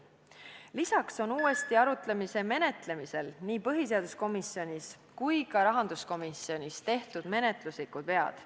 Lisaks on uuesti arutamise menetlemisel nii põhiseaduskomisjonis kui ka rahanduskomisjonis tehtud menetluslikke vigu.